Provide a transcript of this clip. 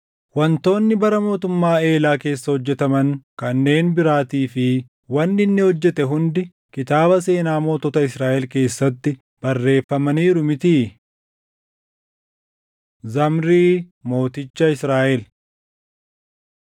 Wantoonni bara mootummaa Eelaa keessa hojjetaman kanneen biraatii fi wanni inni hojjete hundi kitaaba seenaa mootota Israaʼel keessatti barreeffamaniiru mitii? Zamrii Mooticha Israaʼel